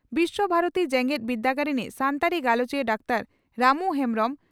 ᱵᱤᱥᱣᱚ ᱵᱷᱟᱨᱚᱛᱤ ᱡᱮᱜᱮᱛ ᱵᱤᱨᱫᱟᱹᱜᱟᱲ ᱨᱤᱱᱤᱡ ᱥᱟᱱᱛᱟᱲᱤ ᱜᱟᱞᱚᱪᱤᱭᱟᱹ ᱰᱟᱠᱛᱟᱨ ᱨᱟᱢᱩ ᱦᱮᱢᱵᱽᱨᱚᱢ